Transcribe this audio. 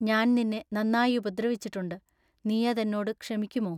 ഞാൻനിന്നെ നന്നാ ഉപദ്രവിച്ചിട്ടുണ്ടു. നീയതെന്നോടു ക്ഷമിക്കുമോ?